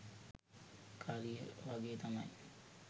කරිය වගේ තමයි.